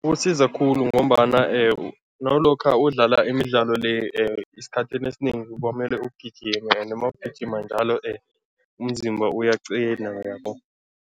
Usiza khulu ngombana nawulokha udlala imidlalo le esikhathini esinengi kwamele ugijime ende mawugijima njalo umziba uyaqina, uyabo.